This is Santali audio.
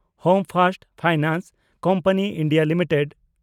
home first finance company India limited